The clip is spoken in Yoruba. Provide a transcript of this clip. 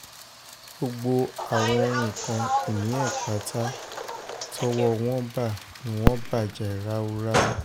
gbogbo àwọn nǹkan-ìní ẹ̀ pátá tọ́wọ́ wọn bá ni wọ́n bàjẹ́ ráúráú